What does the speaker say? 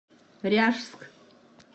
ряжск